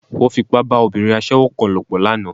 Wọ́n Fipá bá obìnrin aṣẹ́wó kan lòpọ̀ lánàá